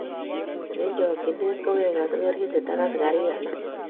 Eng chokchinet kowek askarindet ak asakarik alak